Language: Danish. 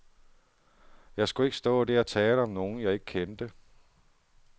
Jeg skulle ikke stå der og tale om nogen, jeg ikke kendte.